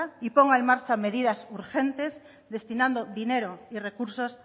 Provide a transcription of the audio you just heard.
y ponga en marcha medidas urgentes destinando dinero y recursos